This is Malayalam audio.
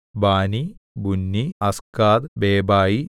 ബാനി ബുന്നി അസ്ഗാദ് ബേബായി